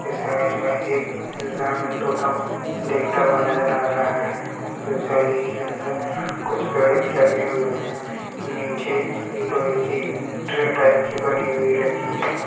इस इमेज में एक तोता को देखता हुआ नजर आ रहा है फिर जाली के अंदर कुछ पेड़ भी लगे हुए है नीचे लोहे की ट्रे टाइप की बनी हुई रखी है।